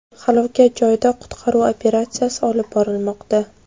Halokat joyida qutqaruv operatsiyasi olib borilmoqda.